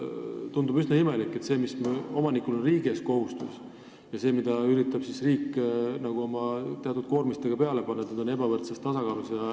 Tundub üsna imelik, et see kohustus, mis omanikul on riigi ees, ja see, mida riik üritab teatud koormistega peale panna, ei ole tasakaalus.